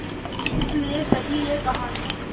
इस लिये कही ये कहानी